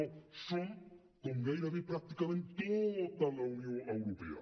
no som com gairebé pràcticament tota la unió europea